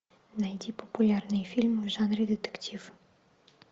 найди популярные фильмы в жанре детектив